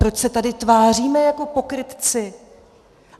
Proč se tady tváříme jako pokrytci?